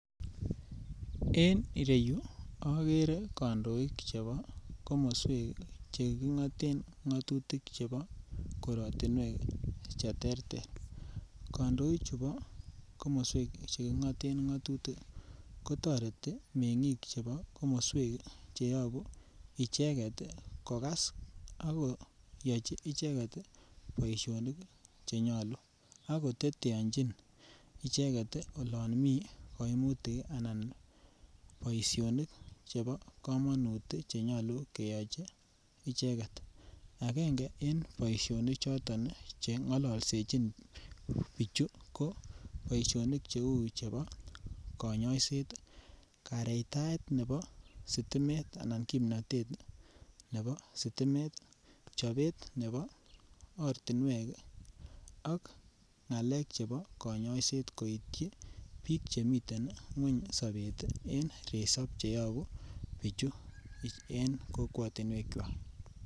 En ireyu ogere kondoik chebo komoswek che kingoten ngotutik chebo korotinwek che terter kandoichu bo komoswek che kingoten ngotutik ko toreti mengik chebo komoswek che yobuu icheget kogas ako yochi icheget ii boisionik che nyoluu ago teteonyin icheget olon mii koimutik ii anan boisionik chebo komonut ii che nyoluu keyochi icheget angenge en boisionik choton che ngololsechin bichu ko boisionik che uu chebo konyoiset ii. Kareitait nebo sitimet anan kimnotet nebo sitimet, chobet nebo ortinwek ak ngalek chebo konyoiset koityi biik che miten kweny sobet en resop che yobuu bichu en kokwotinwek kwak.